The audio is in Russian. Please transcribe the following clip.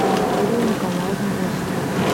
викторию николаевну осипову